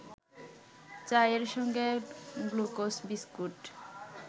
চায়ের সঙ্গে glucose biscuit